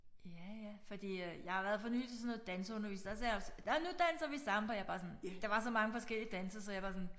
Ja ja fordi at jeg har været for nylig til sådan noget danseundervisning der sagde jeg også nåh nu danser vi samba jeg er bare sådan der var så mange forskellige danse så jeg var sådan